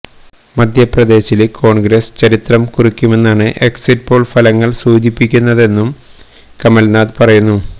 മധ്യപ്രദേശില് കോണ്ഗ്രസ് ചരിത്രം കുറിക്കുമെന്നാണ് exit poll ഫലങ്ങള് സൂചിപ്പിക്കുന്നതെന്നും കമല് നാഥ് പറയുന്നു